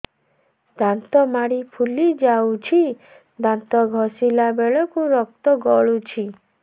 ଦାନ୍ତ ମାଢ଼ୀ ଫୁଲି ଯାଉଛି ଦାନ୍ତ ଘଷିଲା ବେଳକୁ ରକ୍ତ ଗଳୁଛି